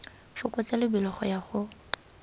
fokotsa lebelo go ya go